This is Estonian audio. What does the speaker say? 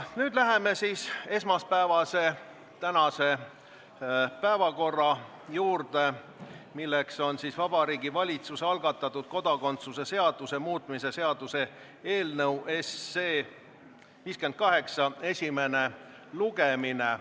Nüüd läheme siis tänase, esmaspäevase päevakorra ainsa punkti juurde, milleks on Vabariigi Valitsuse algatatud kodakondsuse seaduse muutmise seaduse eelnõu 58 esimene lugemine.